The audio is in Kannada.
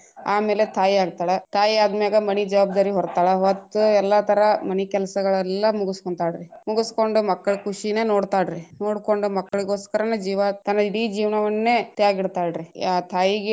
ಆಮೇಲೆ ತಾಯಿ ಆಗ್ತಾಳ ತಾಯಿ ಆದ್ಮೇಗ ಮನಿ ಜವಾಬ್ದಾರಿ ಹೊರತಾಳ ಹೊತ್ತ ಎಲ್ಲಾ ತರಾ ಮನಿ ಕೆಲಸಗಳೆಲ್ಲ ಮುಗಸ್ಕೊಂತಾಳ್ರೀ ಮುಗಸ್ಕೊಂಡ ಮಕ್ಕಳ ಕುಷಿನ ನೋಡ್ತಾಳ್ರೀ ನೋಡ್ಕೊಂಡ ಮಕ್ಕಳಿಗೋಸ್ಕರನೆ ಜೀವಾ ತನ್ನ ಇಡೀ ಜೀವನವನ್ನೆ ತ್ಯಾಗ ಇಡ್ತಾಲ್ರೀ ತಾಯಿಗೆ.